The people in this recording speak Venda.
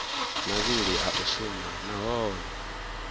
mavhili a u shuma nahone